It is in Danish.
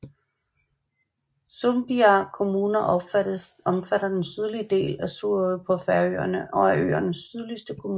Sumbiar kommuna omfatter den sydligste del af Suðuroy på Færøerne og er øernes sydligste kommune